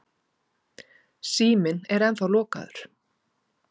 Síminn er ennþá lokaður.